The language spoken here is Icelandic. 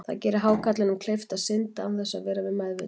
Það gerir hákarlinum kleift að synda án þess að vera við meðvitund.